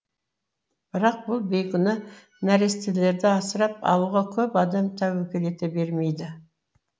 бірақ бұл бейкүнә нәрестелерді асырап алуға көп адам тәуекел ете бермейді